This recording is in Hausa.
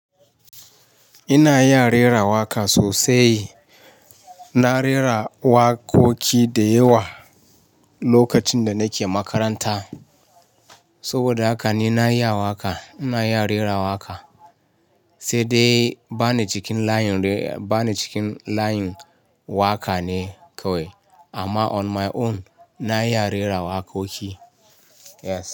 Ina iya rera waƙa sosai. Na rera waƙoƙi da yawa lokacin da nake makaranta. Saboda haka ni na iya waƙa, ina iya rera waƙa, sai dai ba ni cikin layin re--, ba ni cikin layin waƙa ne kawai. Amma on my own, na iya rera waƙoƙi, yes.